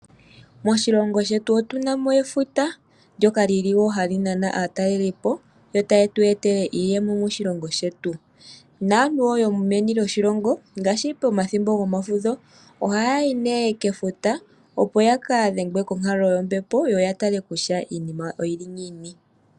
Moshilongo shetu otu na mo efuta ndyoka li li wo hali nana aatalelipo yo taye tu etele iiyemo moshilongo shetu. Naantu wo yomeni lyoshilongo ngaashi pomathimbo gomafudho ohaya yi nee kefuta, opo ya ka dhengwe konkalo yombepo yo ya tale kutya iinima oyi li ngiini.